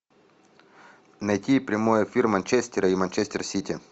найти прямой эфир манчестера и манчестер сити